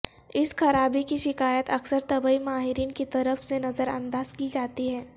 اس خرابی کی شکایت اکثر طبی ماہرین کی طرف سے نظر انداز کی جاتی ہے